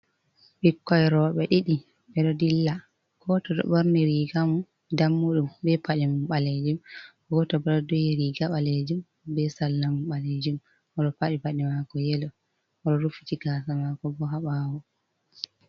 Ɓikkon roɓe ɗiɗi ɓeɗo dilla. Goto ɗo ɓorni riga mun dammuɗum be paɗe mum ɓalejum, goto bo ɗo duhi riga ɓalejum be salla mun ɓalejum oɗo paɗi paɗe mako yelo, oɗo rufiti gasa maako bo ha ɓawo.